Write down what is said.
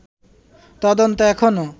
তদন্ত এখনো